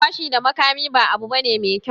Fashi da makami ba abu bane mai kyau